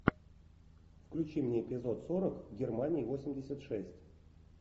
включи мне эпизод сорок германия восемьдесят шесть